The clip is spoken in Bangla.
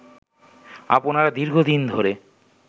আপনারা দীর্ঘদিন ধরে